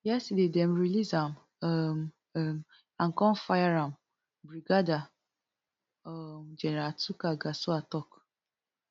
yesterday dem release am um um and come fire am brigadier um general tukur gusau tok